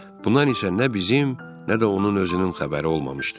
Bundan isə nə bizim, nə də onun özünün xəbəri olmamışdı.